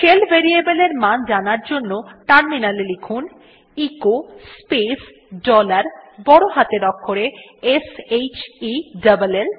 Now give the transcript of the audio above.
shell variableএর মান জানার জন্য টার্মিনালে লিখুন এচো স্পেস ডলার বড় হাতের অক্ষরে s h e l ল